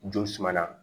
Ju suma na